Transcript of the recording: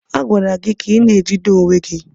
A gwara gị ka ị na-ejide onwe gị!